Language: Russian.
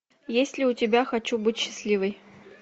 есть ли у тебя хочу быть счастливой